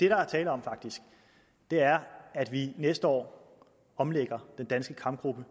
er tale om er at vi næste år omlægger den danske kampgruppe